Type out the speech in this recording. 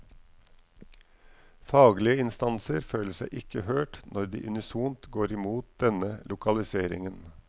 Faglige instanser føler seg ikke hørt når de unisont går imot denne lokaliseringen.